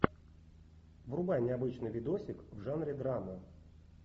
врубай необычный видосик в жанре драма